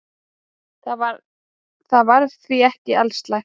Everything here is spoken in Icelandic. Þetta var því ekki alslæmt.